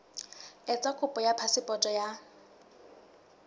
etsa kopo ya phasepoto ya